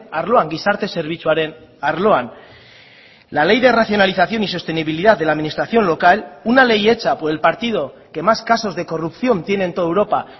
arloan gizarte zerbitzuaren arloan la ley de racionalización y sostenibilidad de la administración local una ley hecha por el partido que más casos de corrupción tiene en toda europa